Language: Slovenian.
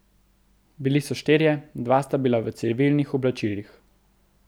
Bili so štirje, dva sta bila v civilnih oblačilih.